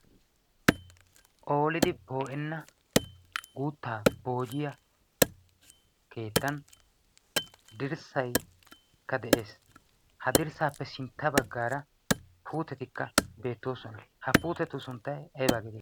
oliidi poo'enna guuttaa poojiya keettan dirssaikka de'ees ha dirssaappe sintta baggaara puutetikka beettoosona ha puutetu sunttay aybaageedea